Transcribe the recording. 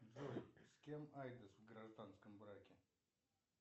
джой с кем айдес в гражданском браке